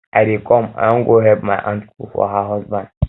i dey come i wan go help my aunt cook for her husband